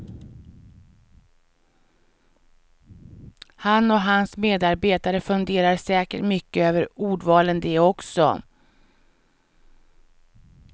Han och hans medarbetare funderar säkert mycket över ordvalen de också.